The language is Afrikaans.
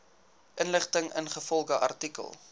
inligting ingevolge artikel